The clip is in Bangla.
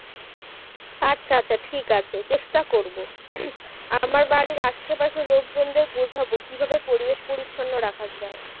আচ্ছা আচ্ছা ঠিক আছে চেষ্টা করব আমার বাড়ির আশপাশের লোকজনদের বোঝাবো কী ভাবে পরিবেশ পরিচ্ছন্ন রাখা যায়